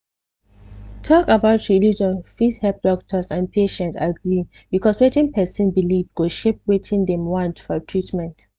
talk about religion fit help doctors and patients agree because wetin pesin believe go shape wetin dem want for treatment